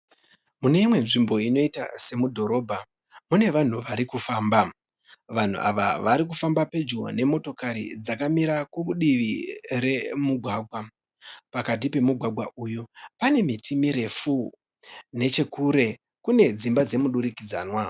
Mune imwe nzvimbo inoita semudhorobha mune vanhu varikufamba. Vanhu ava varikufamba pedyo nemotokari dzakamira kudivi remugwagwa. Pakati pemugwaga uyu pane miti mirefu. Nechekure kune dzimba dzemudurikidzwana.